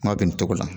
Kuma bɛ nin cogo la